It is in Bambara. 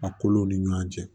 A kolo ni ɲɔgɔn cɛ